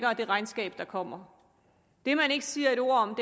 og det regnskab der kommer det man ikke siger et ord om